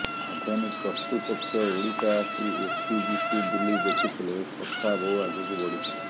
ଆଦାନୀ କର୍ତ୍ତୃପକ୍ଷ ଓଡ଼ିଶା ଆସି ଓପିଜିସି ବୁଲି ଦେଖିଥିଲେ ଓ କଥା ବହୁ ଆଗକୁ ବଢ଼ିଥିଲା